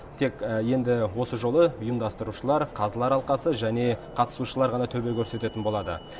тек енді осы жолы ұйымдастырушылар қазылар алқасы және қатысушылар ғана төбе көрсететін болады